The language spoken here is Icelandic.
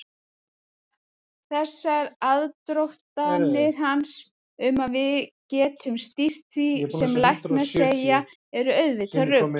Þessar aðdróttanir hans um að við getum stýrt því sem læknar segja eru auðvitað rugl.